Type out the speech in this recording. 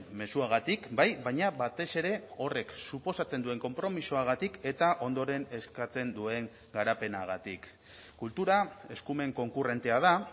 mezuagatik bai baina batez ere horrek suposatzen duen konpromisoagatik eta ondoren eskatzen duen garapenagatik kultura eskumen konkurrentea da